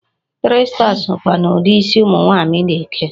Three star sokwa n'ụdị isi ụmụ nwaanyị na-eke.